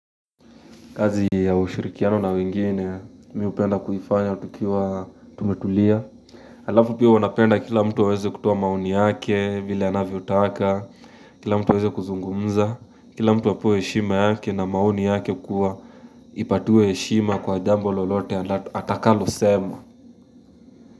Kazi ya ushirikiano na wengine mi hupenda kuifanya tukiwa tumetulia. Alafu pia huwa napenda kila mtu aweze kutoa mauni yake vile anavyotaka, kila mtu aweze kuzungumza, kila mtu apewe heshima yake na maoni yake kuwa ipatiwe heshima kwa jambo lolote atakalosema.